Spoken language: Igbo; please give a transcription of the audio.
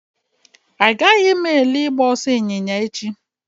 Agaghị m ele ịgba ọsọ ịnyịnya echi